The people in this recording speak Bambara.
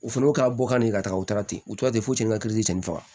O fɛnɛ ka bɔ ka na yen ka taga u taara ten u tora ten fo sen ka faga